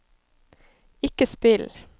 ikke spill